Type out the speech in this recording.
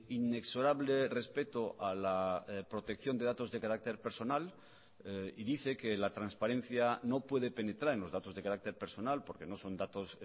inexorable respeto a la protección de datos de carácter personal y dice que la transparencia no puede penetrar en los datos de carácter personal porque no son datos